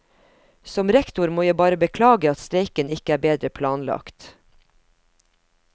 Som rektor må jeg bare beklage at streiken ikke er bedre planlagt.